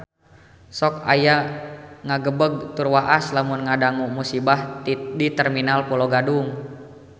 Sok asa ngagebeg tur waas lamun ngadangu musibah di Terminal Pulo Gadung